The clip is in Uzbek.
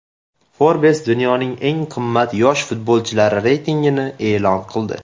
Forbes dunyoning eng qimmat yosh futbolchilari reytingini e’lon qildi.